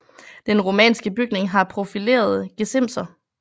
Den romanske bygning har profilerede gesimser